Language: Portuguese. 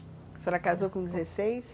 A senhora casou com dezesseis?